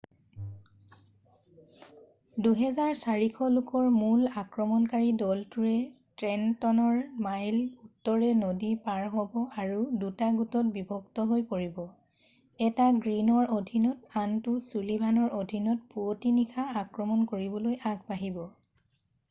2,400 লোকৰ মূল আক্ৰমণকাৰী দলটোৱে ট্ৰেণ্টনৰ ন মাইল উত্তৰে নদী পাৰ হ'ব আৰু দুটা গোটত বিভক্ত হৈ পৰিব এটা গ্ৰীনৰ অধীনত আৰু আনটো ছুলিভানৰ অধীনত পুৱতি নিশা আক্ৰমণ কৰিবলৈ আগবাঢ়িব